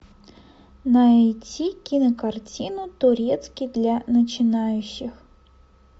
найти кинокартину турецкий для начинающих